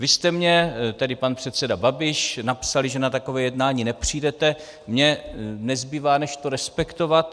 Vy jste mně, tedy pan předseda Babiš, napsali, že na takové jednání nepřijdete, mně nezbývá než to respektovat.